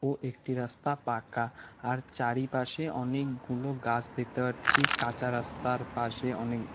ও একটি রাস্তা পাকা আর চারিপাশে অনেকগুলো গাছ দেখতে পারছি কাঁচা রাস্তার পাশে অনেক--